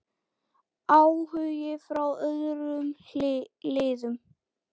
Áhugi frá öðrum liðum?